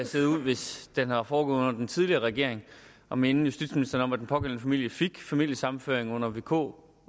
set ud hvis den var foregået under den tidligere regering og minde justitsministeren om at den pågældende familie fik familiesammenføring under vk